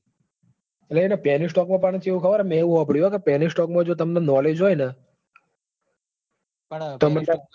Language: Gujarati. એટલે penny stock માં ચેવું મતલબ penny stock માં તમને knowledge હોયન પણ ચેવું હોય ખબર હ. હાલ માં હારા penny stock હીજ ન લ્યા.